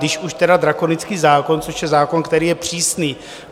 Když už, teda drakonický zákon, což je zákon, který je přísný.